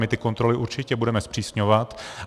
My ty kontroly určitě budeme zpřísňovat.